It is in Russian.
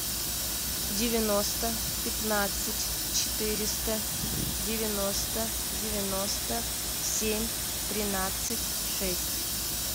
девяносто пятнадцать четыреста девяносто девяносто семь тринадцать шесть